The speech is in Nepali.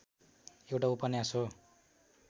एउटा उपन्यास हो